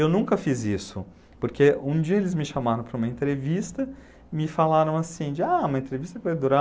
Eu nunca fiz isso, porque um dia eles me chamaram para uma entrevista, me falaram assim, de, ah, uma entrevista com o